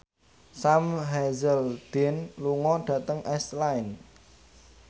Sam Hazeldine lunga dhateng Iceland